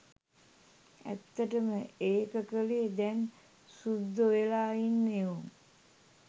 ඇත්තටම ඒක කළේ දැන් සුද්දො වෙලා ඉන්න එවුන්.